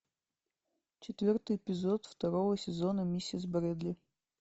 четвертый эпизод второго сезона миссис брэдли